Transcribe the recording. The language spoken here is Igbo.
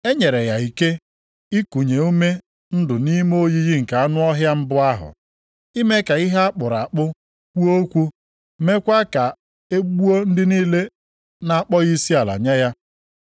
E nyere ya ike ikunye ume ndụ nʼime oyiyi nke anụ ọhịa mbụ ahụ, ime ka ihe a kpụrụ akpụ kwuo okwu mekwa ka e gbuo ndị niile na-akpọghị isiala nye ya.